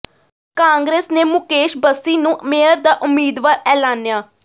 ਕਾਂਗਰਸ ਨੇ ਮੁਕੇਸ਼ ਬਸੀ ਨੂੰ ਮੇਅਰ ਦਾ ਉਮੀਦਵਾਰ ਐਲਾਨਿਆ